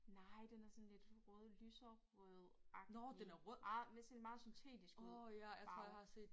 Nej den er sådan lidt rød lyserød agtig meget det sådan meget syntetisk ud farve